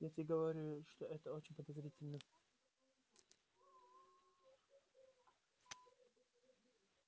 я тебе говорю что это очень подозрительно